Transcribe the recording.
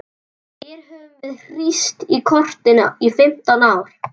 Hér höfum við hírst í kotinu í fimmtán ár.